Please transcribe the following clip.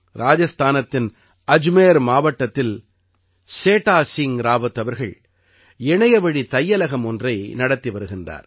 ராஜஸ்தானத்தின் அஜ்மேர் மாவட்டத்தில் சேடா சிங் ராவத் அவர்கள் இணையவழித் தையலகம் ஒன்றை நடத்தி வருகின்றார்